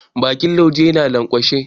Bakin laujen ya lanƙwashe.